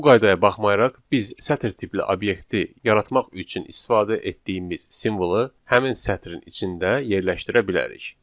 Bu qaydaya baxmayaraq, biz sətr tipli obyekti yaratmaq üçün istifadə etdiyimiz simvolu həmin sətrin içində yerləşdirə bilərik.